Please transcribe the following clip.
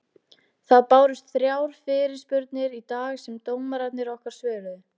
Það bárust þrjár fyrirspurnir í dag sem dómararnir okkar svöruðu.